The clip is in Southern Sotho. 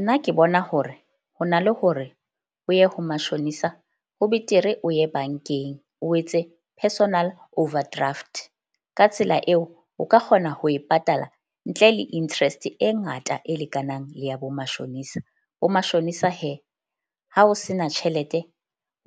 Nna ke bona hore ho na le hore o ye ho mashonisa ho betere, o ye bank-eng. O etse personal overdraft ka tsela eo o ka kgona ho e patala ntle le interest e ngata e lekanang le ya bo mashonisa. Ho mashonisa ha o sena tjhelete,